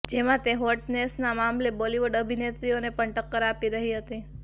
જેમાં તે હોટનેસના મામલે બોલિવૂડ અભિનેત્રીઓને પણ ટક્કર આપી રહી હતી